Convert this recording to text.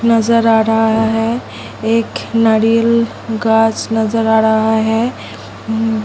नजर आ रहा है एक नारियल गाछ नजर आ रहा है। उ --